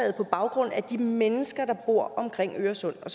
på baggrund af de mennesker der bor omkring øresund